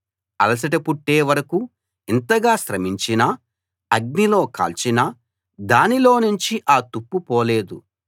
అలసట పుట్టే వరకూ ఇంతగా శ్రమించినా అగ్నిలో కాల్చినా దానిలో నుంచి ఆ తుప్పు పోలేదు